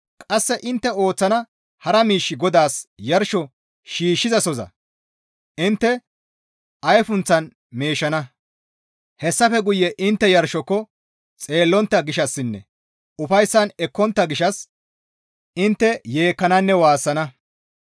Qasse intte ooththana hara miish GODAAS yarsho shiishshizasoza intte ayfunthan meeshana; hessafe guye intte yarshoko xeellontta gishshassinne ufayssan ekkontta gishshas intte yeekkananne waassana.